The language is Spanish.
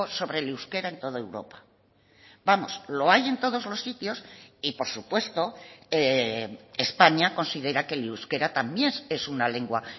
sobre el euskera en toda europa vamos lo hay en todos los sitios y por supuesto españa considera que el euskera también es una lengua